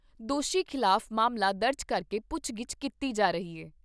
ਦੋਸ਼ੀ ਖਿਲਾਫ ਮਾਮਲਾ ਦਰਜ ਕਰਕੇ ਪੁੱਛਗਿੱਛ ਕੀਤੀ ਜਾ ਰਹੀ ਐ।